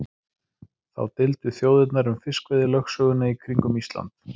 Þá deildu þjóðirnar um fiskveiðilögsöguna í kringum Ísland.